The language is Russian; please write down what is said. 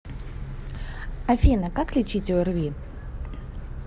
афина как лечить орви